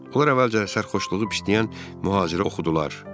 Onlar əvvəlcə sərxoşluğu pisləyən mühacirə oxudular.